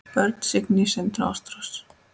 Börn: Signý, Sindri og Ástrós.